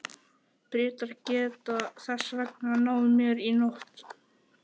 Bretar geta þess vegna náð mér í nótt.